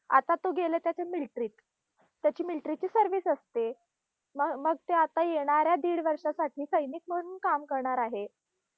आता तो गेला त्याच्या military मध्ये. त्याची military ची service असते. म मग आता येणाऱ्या दीड वर्षासाठी सैनिक म्हणून काम करणार आहे.